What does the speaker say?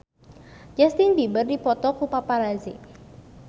Justin Beiber dipoto ku paparazi